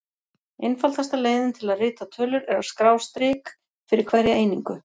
Einfaldasta leiðin til að rita tölur er að skrá strik fyrir hverja einingu.